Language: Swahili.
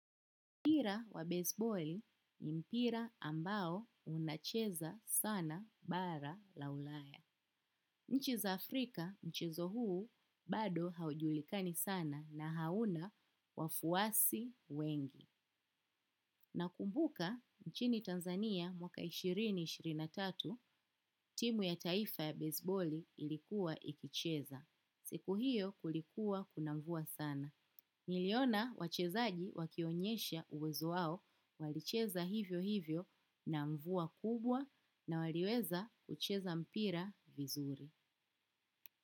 Mpira wa baseballi ni mpira ambao unacheza sana bara la ulaya. Nchi za Afrika mchezo huu bado haujulikani sana na hauna wafuasi wengi. Na kumbuka nchini Tanzania mwaka ishirini ishirini na tatu timu ya taifa ya baseballi ilikuwa ikicheza. Siku hiyo kulikuwa kuna mvua sana. Niliona wachezaji wakionyesha uwezo wao walicheza hivyo hivyo na mvua kubwa na waliweza kucheza mpira vizuri.